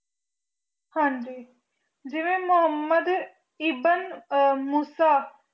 ਹਾਂਜੀ ਜਿਵੇ ਮੁਹਮ੍ਮਦ ਏਇਦਨ ਆ ਉਸ